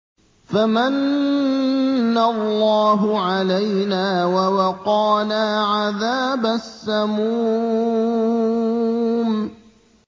فَمَنَّ اللَّهُ عَلَيْنَا وَوَقَانَا عَذَابَ السَّمُومِ